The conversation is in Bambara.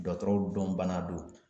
Dɔgɔtɔrɔw dɔn bana don.